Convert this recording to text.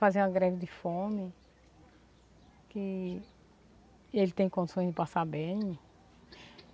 fazer uma greve de fome, que ele tem condições de passar bem.